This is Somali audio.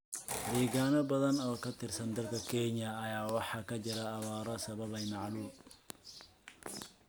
Deegaano badan oo ka tirsan dalka Kenya ayaa waxaa ka jira abaaro sababay macaluul.